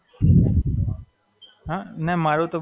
હાં, કરી તો શકે.